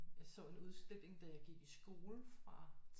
Jeg så en udstilling da jeg gik i skole fra